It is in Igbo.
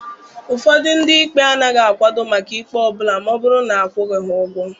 Ụfọdụ ndị ikpe agaghị akwado maka ikpe ọ bụla ma ọ bụrụ na akwụghị ha ụgwọ.